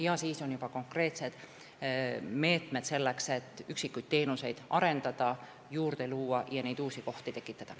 Ja veel on konkreetsed meetmed, selleks et üksikuid teenuseid arendada ja juurde luua ning uusi kohti tekitada.